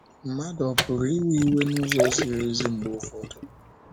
Mmadụ ọ pụrụ iwe iwe n’ụzọ ziri ezi mgbe ụfọdụ?